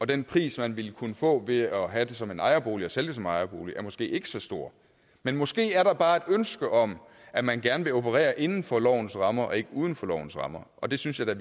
den pris man ville kunne få ved at have den som en ejerbolig og sælge den som ejerbolig er måske ikke så stor men måske er der bare er et ønske om at man gerne vil operere inden for lovens rammer og ikke uden for lovens rammer og det synes jeg da